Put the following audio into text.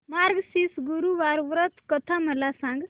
मार्गशीर्ष गुरुवार व्रत कथा मला सांग